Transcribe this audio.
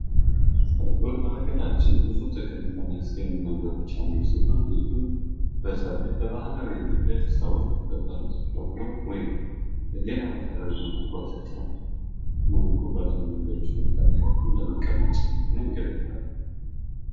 በጎር በሃገራችንብዙ ጥቅም ከሚያስገኙ ነገሮች አንዱ ሲሆን ይህም በተለይ በባህላዊ መንገድ ሰዎች በፈረስ በቅሎ ወይም በሌላ ባህላዊ መንገድ መጓጓዣ መንገዶች መካከል እንደ ለመቀመጫ ያገለግላል